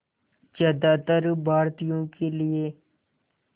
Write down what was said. ज़्यादातर भारतीयों के लिए